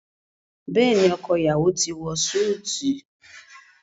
Béèni ọkọ iyawo ti wọ Súìti.